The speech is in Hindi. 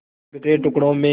बिखरे टुकड़ों में